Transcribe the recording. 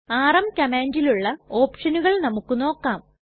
RM കംമാണ്ടിലുള്ള ഓപ്ഷനുകൾ നമുക്ക് നോക്കാം